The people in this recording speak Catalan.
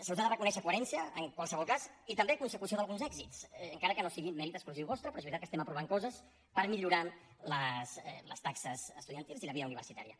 se us ha de reconèixer coherència en qualsevol cas i també consecució d’alguns èxits encara que no sigui mèrit exclusiu vostre però és veritat que estem aprovant coses per millorar les taxes estudiantils i la vida universitària